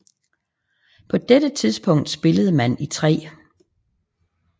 På dette tidspunkt spillede man i 3